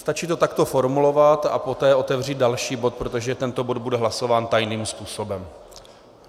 Stačí to takto formulovat a poté otevřít další bod, protože tento bod bude hlasován tajným způsobem.